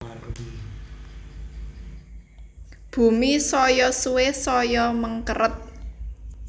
Bumi saya suwe saya mengkeret